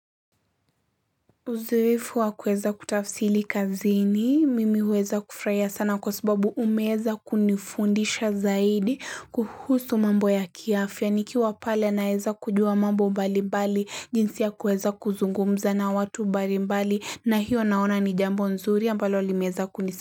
Uzoefu wa kuweza kutafsili kazini, mimi huweza kufurahia sana kwa sababu umeweza kunifundisha zaidi kuhusu mambo ya kiafya, nikiwa pale naeza kujua mambo mbali mbali, jinsi ya kuweza kuzungumza na watu mbali mbali, na hiyo naona ni jambo nzuri ambalo limeeza kunisi.